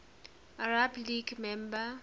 arab league member